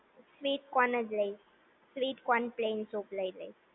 sweet corn જ લઈશ sweet corn plains soup લઈ લઈશ